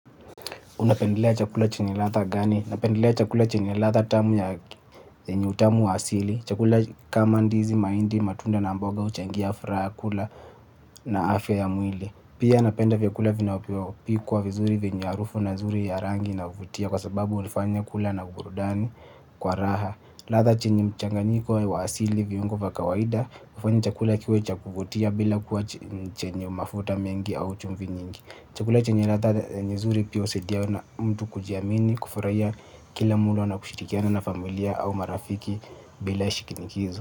Unapendelea chakula chenye ladha gani? Napendelea chakula chenye ladha tamu yenye utamu wa asili. Chakula kama ndizi mahindi matunda na mboga huchangia furaha ya kula na afya ya mwili. Pia napenda vyakula vinavyopikwa vizuri venye harufu na zuri ya rangi inayovutia kwa sababu hunifanya kula na burudani kwa raha. Ladha chenye mchanganiko wa asili viungo wa kawaida hufanya chakula kiwe cha kuvutia bila kuwa chenye mafuta mengi au chumvi nyingi. Chakula chenye ladha yenye zuri pia husaidia na mtu kujiamini. Kufurahia kila mlo na kushirikiana na familia au marafiki bila shikinikizo.